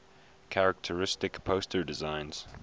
characteristic poster designs